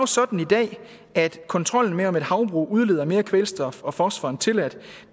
sådan i dag at kontrollen med om et havbrug udleder mere kvælstof og fosfor end tilladt